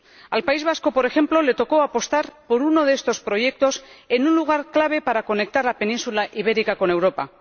Al País Vasco, por ejemplo, le tocó apostar por uno de estos proyectos en un lugar clave para conectar la península ibérica con Europa.